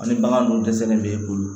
Ani bagan dun dɛsɛlen bɛ e bolo